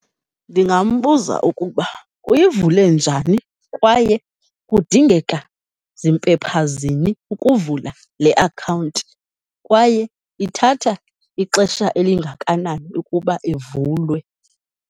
Ndingambuza ukuba uyivule njani kwaye kudingeka zimpepha zini ukuvula le akhawunti, kwaye ithatha ixesha elingakanani ukuba ivulwe.